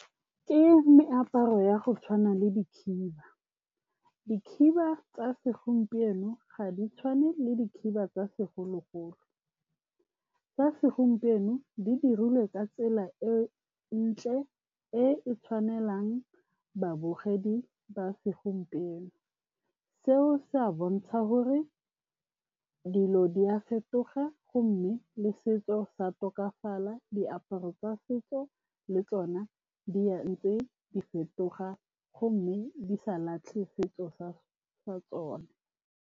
Ke meaparo ya go tshwana le dikhiba. Dikhiba tsa segompieno ga di tshwane le dikhiba tsa segologolo. Tsa segompieno di dirilwe ka tsela e e ntle e e tshwanelang babogedi ba segompieno. Seo se a bontsha gore dilo di a fetoga gomme le setso sa tokafala diaparo tsa setso le tsona di a ntse di fetoga gomme di sa latlhe setso sa tsona.